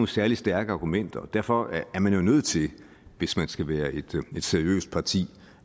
særlig stærke argumenter og derfor er man jo nødt til hvis man skal være et seriøst parti